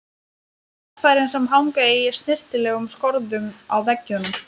Á verkfærin sem hanga í snyrtilegum skorðum á veggjunum.